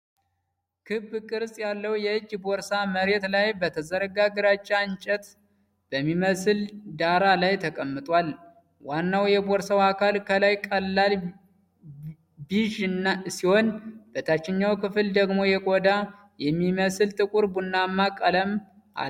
ክብ ቅርጽ ያለው የእጅ ቦርሳ መሬት ላይ በተዘረጋ የግራጫ እንጨት በሚመስል ዳራ ላይ ተቀምጧል። ዋናው የቦርሳው አካል ከላይ ቀላል ቢዥ ሲሆን በታችኛው ክፍል ደግሞ የቆዳ የሚመስል ጥቁር ቡናማ ቀለም አለው።